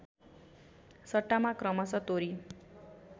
सट्टामा क्रमशः तोरी